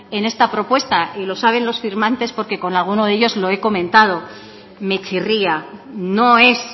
en esta propuesta y lo saben los firmantes porque con algunos de ellos lo he comentado me chirría no es